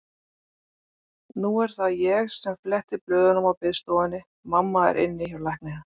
Nú er það ég sem fletti blöðum á biðstofunni, mamma er inni hjá lækninum.